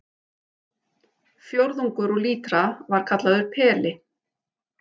Fjórðungur úr lítra var kallaður peli.